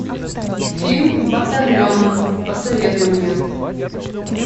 фильм батальон посоветуй мне